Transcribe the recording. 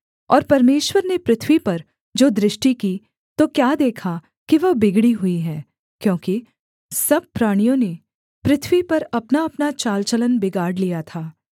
और परमेश्वर ने पृथ्वी पर जो दृष्टि की तो क्या देखा कि वह बिगड़ी हुई है क्योंकि सब प्राणियों ने पृथ्वी पर अपनाअपना चालचलन बिगाड़ लिया था